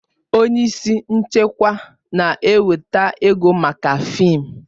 Onye isi nchịkwa na-eweta ego maka fịịm